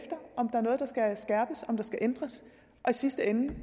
noget der skal skærpes om der skal ændres og i sidste ende